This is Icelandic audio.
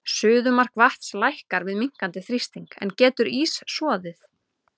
Suðumark vatns lækkar við minnkandi þrýsting, en getur ís soðið?